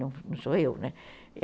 Não sou eu, né?